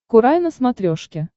курай на смотрешке